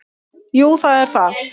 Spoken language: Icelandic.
Jú það er það.